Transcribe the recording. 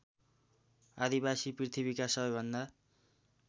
आदिवासी पृथ्वीका सबैभन्दा